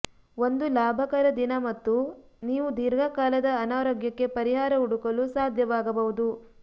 ಒಂದು ಲಾಭಕರ ದಿನ ಮತ್ತು ನೀವು ದೀರ್ಘ ಕಾಲದ ಅನಾರೋಗ್ಯಕ್ಕೆ ಪರಿಹಾರ ಹುಡುಕಲು ಸಾಧ್ಯವಾಗಬಹುದು